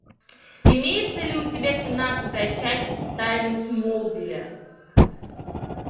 имеется ли у тебя семнадцатая часть тайны смолвиля